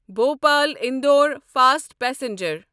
Bhopal Indore fast passenger